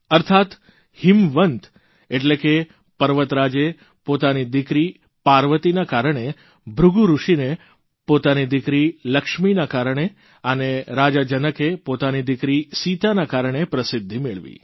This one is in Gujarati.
અર્થાત્ હીમવંત એટલે કે પર્વતરાજે પોતાની દિકરી પાર્વતીના કારણે ભૃગુ ઋષિએ પોતાની દિકરી લક્ષ્મીના કારણે અને રાજા જનકે પોતાની દિકરી સીતાના કારણે પ્રસિદ્ધિ મેળવી